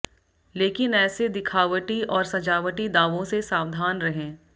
लेकिन ऐसे दिखावटी और सजावटी दावों से सावधान रहें